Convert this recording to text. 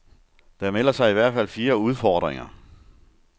Der melder sig i hvert fald fire udfordringer.